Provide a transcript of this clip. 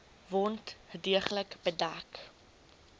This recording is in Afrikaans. wond deeglik bedek